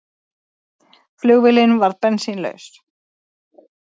Flugvélin varð bensínlaus